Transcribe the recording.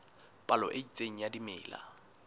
palo e itseng ya dimela